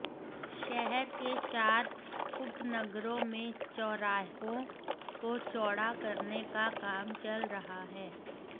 शहर के चार उपनगरों में चौराहों को चौड़ा करने का काम चल रहा है